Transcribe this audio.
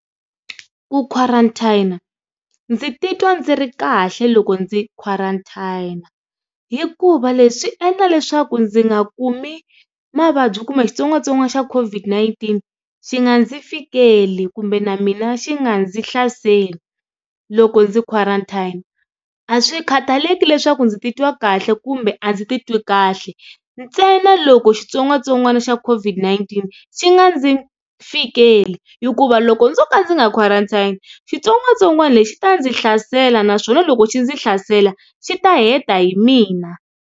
Ku quarantine-a ndzi titwa ndzi ri kahle loko ndzi quarantine-a hikuva leswi swi endla leswaku ndzi nga kumi mavabyi kumbe xitsongwatsongwana xa COVID-19 xi nga ndzi fikeli kumbe na mina xi nga ndzi hlaseli loko ndzi quarantine-a a swi khataleki leswaku ndzi ti twa kahle kumbe a ndzi ti twi kahle ntsena loko xitsongwatsongwana xa COVID-19 xi nga ndzi fikeli hikuva loko ndzo ka ndzi nga quarantine xitsongwatsongwana lexi xi ta ndzi hlasela naswona loko xi ndzi hlasela xi ta heta hi mina.